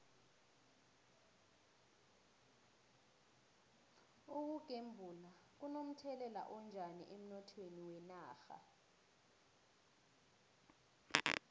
ukugembula kuno mthelela onjani emnothweni wenarha